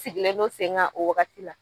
Sigilen don sen kan o wagati la.